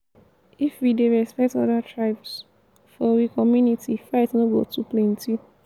if we dey respect other tribes for we community fight no go too plenty.